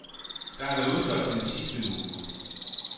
Der har været udsolgt den sidste uge.